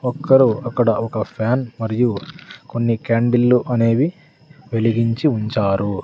ఒక్కరు అక్కడ ఒక ఫ్యాన్ మరియు కొన్ని క్యాండిల్లు అనేవి వెలిగించి ఉంచారు.